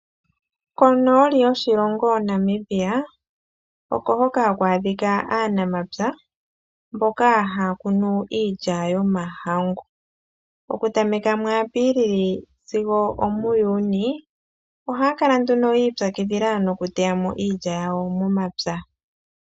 Konooli yoshilongo Namibia oko hoka ha ku adhika aanamapya mboka haya kunu iilya yomahangu. Oku tameka muApilili sigo omuJunii ohaya kala ya ipyakidhila nokuteya mo iilya yawo momapya.